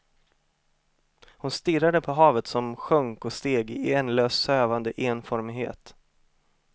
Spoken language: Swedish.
Hon stirrade på havet som sjönk och steg i ändlös sövande enformighet.